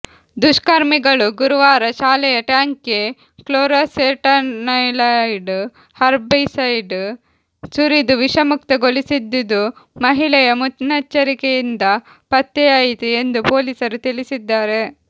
ದುಷ್ಕರ್ಮಿಗಳು ಗುರುವಾರ ಶಾಲೆಯ ಟ್ಯಾಂಕ್ಗೆ ಕ್ಲೋರಾಸೆಟನಿಲೈಡ್ ಹರ್ಬಿಸೈಡ್ ಸುರಿದು ವಿಷಯುಕ್ತಗೊಳಿಸಿದ್ದುದು ಮಹಿಳೆಯ ಮುನ್ನೆಚ್ಚರಿಕೆಯಿಂದ ಪತ್ತೆಯಾಯಿತು ಎಂದು ಪೊಲೀಸರು ತಿಳಿಸಿದ್ದಾರೆ